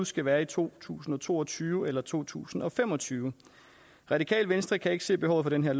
skal være i to tusind og to og tyve eller to tusind og fem og tyve radikale venstre kan ikke se behovet for den her